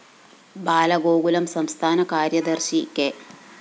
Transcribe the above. ബാലഗോകുലം സംസ്ഥാന കാര്യദര്‍ശി കെ